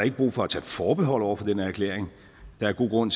ikke brug for at tage forbehold over for den her erklæring der er god grund